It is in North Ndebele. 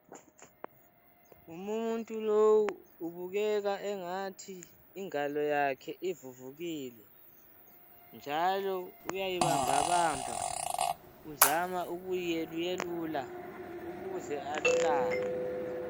Umuntu lowu ubukeka engathi ingalo yakhe ivuvukile njalo uyayibambabamba uzama ukuyeluyelula ukuze alulame.